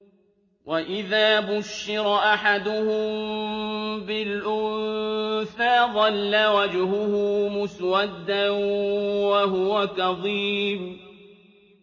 وَإِذَا بُشِّرَ أَحَدُهُم بِالْأُنثَىٰ ظَلَّ وَجْهُهُ مُسْوَدًّا وَهُوَ كَظِيمٌ